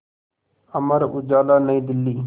Amar Ujala Nai Delhi